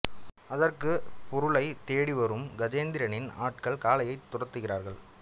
அதற்குள் பொருளைத் தேடி வரும் கஜேந்திரனின் ஆட்கள் காளையனைத் துரத்துகிறார்கள்